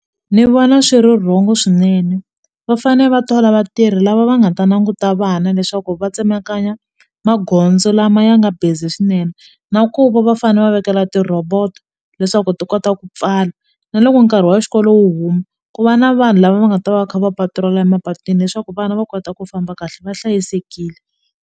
Ni vona swi ri wrong-o swinene va fane va thola vatirhi lava va nga ta languta vana leswaku va tsemakanya magondzo lama ya nga busy swinene na ku va va fane va vekela ti-robot leswaku ti kota ku pfala na loko nkarhi wa xikolo wu huma ku va na vanhu lava va nga ta va va kha va mapatirola emapatwini leswaku vana va kota ku famba kahle va hlayisekile.